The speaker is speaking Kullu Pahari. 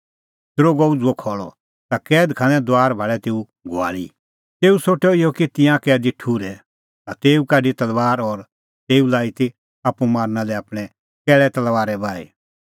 दरोगअ उझ़ुअ खल़अ ता कैद खाने दुआर भाल़ै तेऊ घुआल़ी तेऊ सोठअ इहअ कि तिंयां कैदी ठुर्है ता तेऊ काढी तलबार और तेऊ लाई ती आप्पू मारना लै आपणैं कैल़ै तलबारै बाही